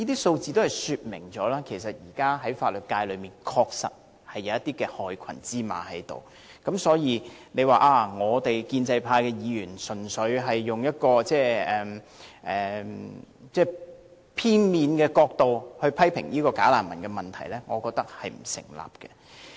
由此可以說明，現時法律界確實有些害群之馬，若說建制派議員純粹從片面角度批評"假難民"問題，我認為並不成立。